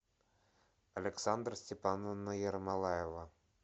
александра степановна ермолаева